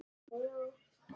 Hvaða mynd?